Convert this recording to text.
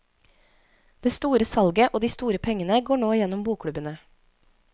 Det store salget og de store pengene går nå gjennom bokklubbene.